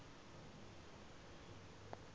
french physicists